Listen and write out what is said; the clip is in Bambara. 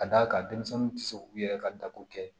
Ka d'a kan denmisɛnninw tɛ se k'u yɛrɛ ka dako kɛ